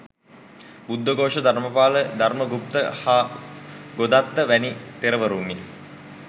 බුද්ධඝෝෂ, ධර්මපාල, ධර්මගුප්ත හා ගොදත්ත වැනි තෙරවරුන්ය.